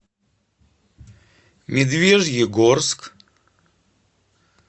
медвежьегорск